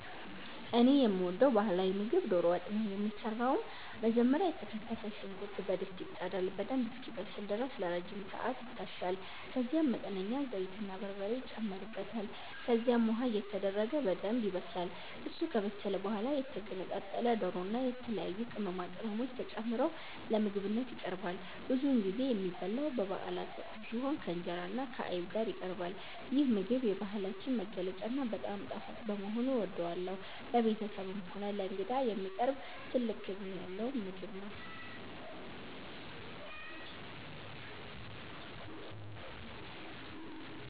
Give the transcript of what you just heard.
እኔ የምወደው ባህላዊ ምግብ ዶሮ ወጥ ነው። የሚሰራውም መጀመሪያ የተከተፈ ሽንኩርት በድስት ይጣዳል፤ በደንብ እስኪበስል ድረስ ለረጅም ሰዓት ይታሻል፤ ከዛም መጠነኛ ዘይትና በርበሬ ይጨመርበታል። ከዚያም ውሃ እየተደረገ በደንብ ይበሰላል። እሱ ከበሰለ በኋላ የተገነጣጠለ ዶሮና የተለያዩ ቅመማ ቅመሞች ተጨምረው ለምግብነት ይቀርባል። ብዙውን ጊዜ የሚበላው በበአላት ወቅት ሲሆን፣ ከእንጀራና ከአይብ ጋር ይቀርባል። ይህ ምግብ የባህላችን መገለጫና በጣም ጣፋጭ በመሆኑ እወደዋለሁ። ለቤተሰብም ሆነ ለእንግዳ የሚቀርብ ትልቅ ክብር ያለው ምግብ ነው።